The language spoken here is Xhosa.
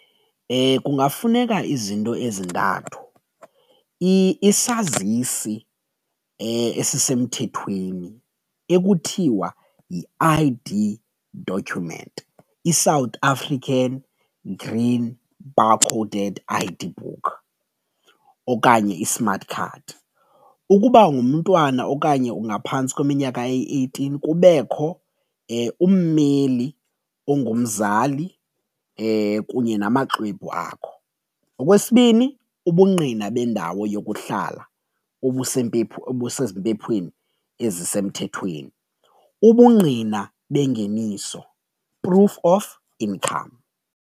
Kungafuneka izinto ezintathu isazisi esisemthethweni ekuthiwa yi-I_D document, iSouth African green barcoded I_D book okanye iSmart Card. Ukuba ungumntwana okanye ungaphantsi kweminyaka eyi eighteen kubekho ummeli ongumzali kunye namaxwebhu akho. Okwesibini, ubungqina bendawo yokuhlala obusezi mpephweni ezisemthethweni, ubungqina bengeniso proof of income.